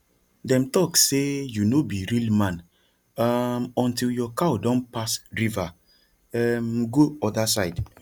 dem talk say you no be real man um until your cow don pass river um go other side